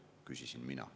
/ küsisin mina.